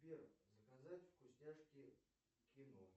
сбер заказать вкусняшки к кино